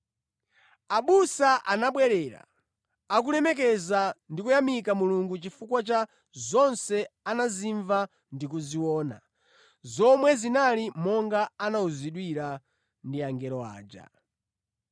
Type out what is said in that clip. Abusa anabwerera, akulemekeza ndi kuyamika Mulungu chifukwa cha zonse anazimva ndi kuziona, zomwe zinali monga anawuzidwira ndi angelo aja.